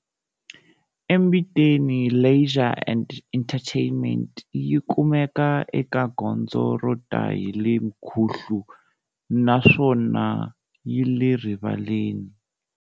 eMbiteni leisure and entertainment yi kumeka eka gondzo rota hile mkhuhlu na swona yile rivaleni.